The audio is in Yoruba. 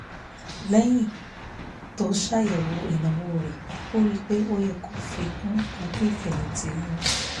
lẹ́yìn tó ṣàyẹ̀wò ìnáwó rẹ̀ ó rí i pé ó yẹ kó fi kún owó ìfẹ̀yìntì òun